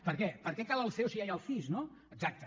perquè per què cal el ceo si ja hi ha el cis no exacte